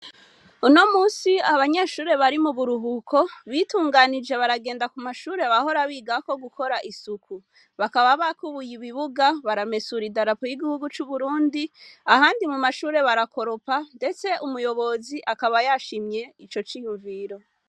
Uno musi abanyeshure bari mu buruhuko bitunganije baragenda ku mashure bahora bigako gukora isuku. Bakaba bakubuye ibibuga, baramesura idarapo y'igihugu c'Uburundi, ahandi mu mashure barakoropa ndetse umuyobozi akaba yashimye ico ciyumviro.